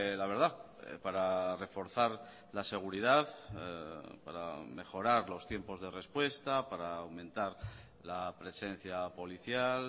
la verdad para reforzar la seguridad para mejorar los tiempos de respuesta para aumentar la presencia policial